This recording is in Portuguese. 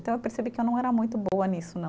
Então, eu percebi que eu não era muito boa nisso, não.